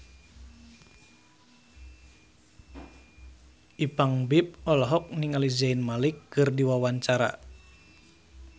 Ipank BIP olohok ningali Zayn Malik keur diwawancara